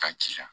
Ka jija